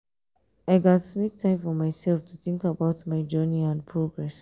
i gats make time for myself to think about my journey and progress.